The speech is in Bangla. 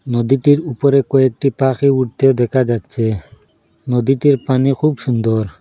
নদীতির উপরে কয়েকটি পাখি উড়তেও দেখা যাচ্ছে নদীটির পানি খুব সুন্দর।